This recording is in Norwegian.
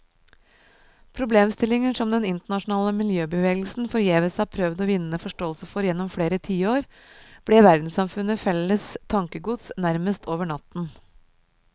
Problemstillinger som den internasjonale miljøbevegelsen forgjeves hadde prøvd å vinne forståelse for gjennom flere tiår, ble verdenssamfunnets felles tankegods nærmest over natten.